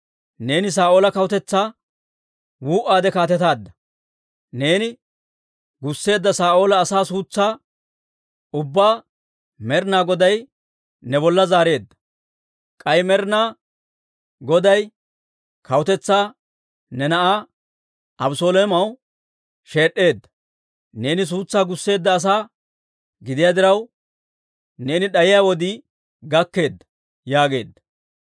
Neeni Saa'oola kawutetsaa wuu"aade kaatetaadda; neeni gusseedda Saa'oola asaa suutsaa ubbaa Med'inaa Goday ne bolla zaareedda; k'ay Med'inaa Goday kawutetsaa ne na'aa Abeseloomaw sheed'd'eedda. Neeni suutsaa gusseedda asaa gidiyaa diraw, neeni d'ayiyaa wodii gakkeedda» yaageedda.